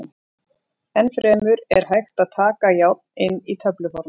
Enn fremur er hægt að taka járn inn á töfluformi.